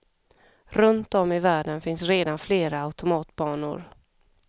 Runt om i världen finns redan flera automatbanor.